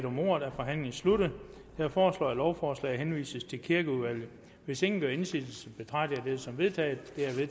om ordet er forhandlingen sluttet jeg foreslår at lovforslaget henvises til kirkeudvalget hvis ingen gør indsigelse betragter jeg det som vedtaget